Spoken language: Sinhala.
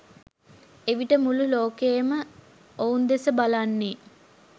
එවිට මුළු ලෝකයම ඔවුන් දෙස බලන්නේ